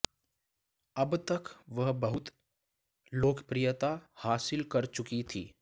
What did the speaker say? अब तक वह बहुत लोकफ्रियता हासिल कर चुकी थी